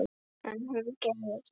En hún gerði það.